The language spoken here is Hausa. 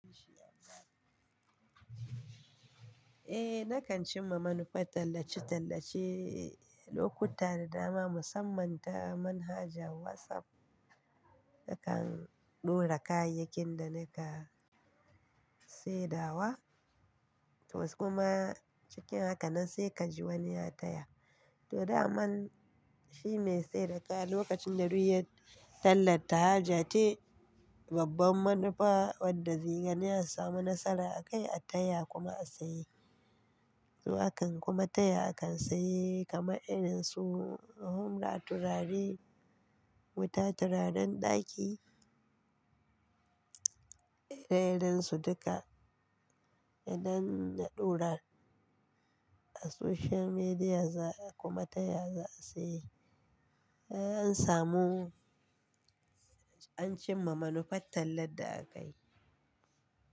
Eh, na kan cimma manufa tallace-tallace lokuta da dama musamman ta manhajar WhatsApp. Na kan ɗora kayakin da na ka sai dawa, toh kuma cikin haka nan sai ka ji wani ya taya. Toh, daman shi mai sayar daƙa lokacin da ruhiyar tallan ta haja ce, babban manufa wadda ziyar ne a samu nasara a kai a taya kuma a saye. Zuwa kan kuma taya akan saye kamar irin su humra, turare, wuta, turaren ɗaki, irin irin su duka. Idan na ɗora a social media za kuma taya za a saye. An samu, an cimma manufar tallar da aka yi.